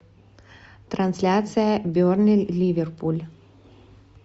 трансляция бернли ливерпуль